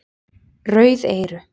Rauð eyru